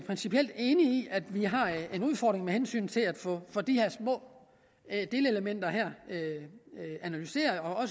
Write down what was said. principielt enig i at vi har en udfordring med hensyn til at få de her små delelementer analyseret og